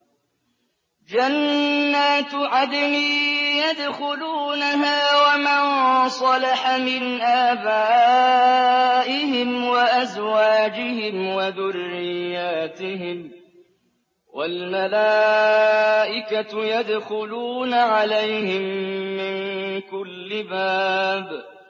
جَنَّاتُ عَدْنٍ يَدْخُلُونَهَا وَمَن صَلَحَ مِنْ آبَائِهِمْ وَأَزْوَاجِهِمْ وَذُرِّيَّاتِهِمْ ۖ وَالْمَلَائِكَةُ يَدْخُلُونَ عَلَيْهِم مِّن كُلِّ بَابٍ